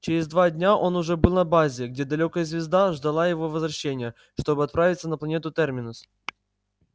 через два дня он уже был на базе где далёкая звезда ждала его возвращения чтобы отправиться на планету терминус